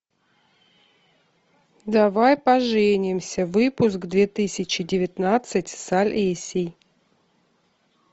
давай поженимся выпуск две тысячи девятнадцать с олесей